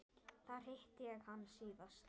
Þar hitti ég hann síðast.